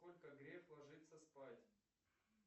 во сколько греф ложится спать